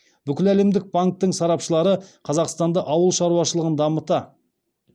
бүкіләлемдік банктің сарапшылары қазақстанды ауыл шаруашылығын дамыта